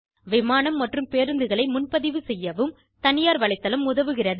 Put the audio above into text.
விமானம் மற்றும் பேருந்துகளை முன்பதிவு செய்யவும் தனியார் வலைத்தளம் உதவுகிறது